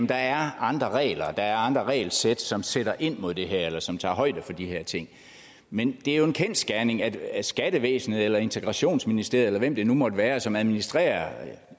der er andre regler der er andre regelsæt som sætter ind mod det her eller som tager højde for de her ting men det jo en kendsgerning at at skattevæsenet eller integrationsministeriet eller hvem det nu måtte være som administrerer